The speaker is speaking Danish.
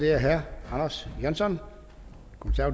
er herre anders johansson